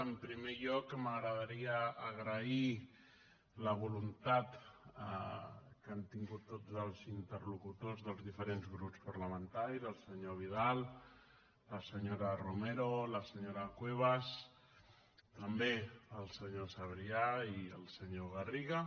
en primer lloc m’agradaria agrair la voluntat que han tingut tots els interlocutors dels diferents grups parlamentaris el senyor vidal la senyora romero la senyora cuevas també el senyor sabrià i el senyor garriga